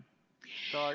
See jäigi juba stenogrammi.